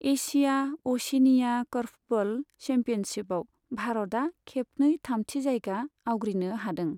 Asia अशिनिया korfball चेम्पियनशिपआव भारतआ खेबनै थामथि जायगा आवग्रिनो हादों।